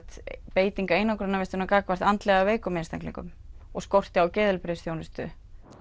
beiting einangrunarvistar gagnvart andlega veikum einstaklingum og skorti á geðheilbrigðisþjónustu